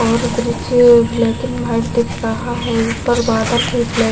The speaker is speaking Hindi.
और ब्रिज ब्लैक एंड व्हाइट दिख रहा है। ऊपर बादल भी ब्लैक --